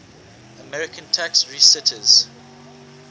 american tax resisters